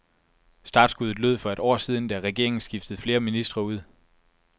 Startskuddet lød for et år siden, da regeringen skiftede flere ministre ud.